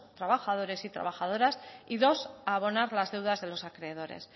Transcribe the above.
trabajadores y trabajadoras y dos a abonar las deudas de los acreedores